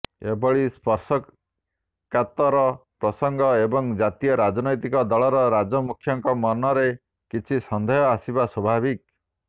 ଏଭଳି ସ୍ପର୍ଶକାତର ପ୍ରସଙ୍ଗରେ ଏକ ଜାତୀୟ ରାଜନୈତିକ ଦଳର ରାଜ୍ୟମୁଖ୍ୟଙ୍କ ମନରେ କିଛି ସନ୍ଦେହ ଆସିବା ସ୍ୱାଭାବିକ